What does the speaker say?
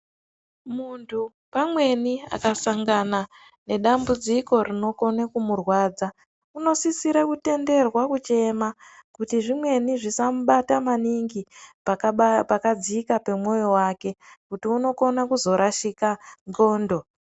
Muntu pamweni akasangana nedambudziko rinokone kumurwadza, unosisire kutenderwa kuchema kuti zvimweni zvisambata maningi pakadzika pemoyo wake kuti unokona kuzorashika ngxondo.